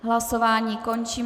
Hlasování končím.